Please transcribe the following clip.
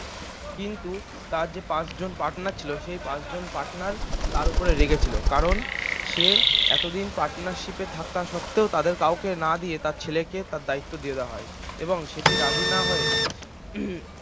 কিন্তু তার যে পাঁচজন partner ছিল সেই পাঁচজন partner তাঁর উপর রেগে ছিল কারণ সে এতদিন partnership এ থাকা সত্ত্বেও তাদের কাউকে না দিয়ে তাঁর ছেলেকে তাঁর দায়িত্ব দিয়ে দেওয়া হয় এবং সেটি রাজি না হয়ে